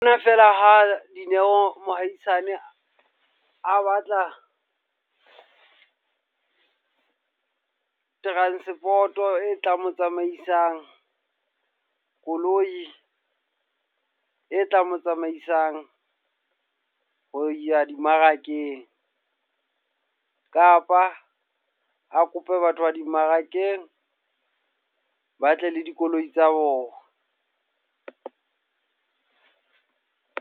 Ke nna fela ha Dineo mohaisane a batla transport e tla mo tsamaisang. Koloi e tla mo tsamaisang ho ya dimmarakeng. Kapa a kope batho ba dimmarakeng ba tle le dikoloi tsa bona.